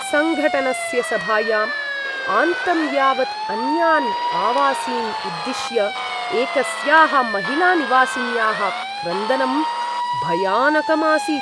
सङ्घटनस्य सभायाम् आन्तं यावत् अन्यान् आवासीन् उद्दिश्य एकस्याः महिलानिवासिन्याः क्रन्दनं भयानकम् आसीत्।